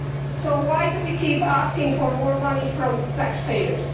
So why do we keep asking for more money from taxpayers?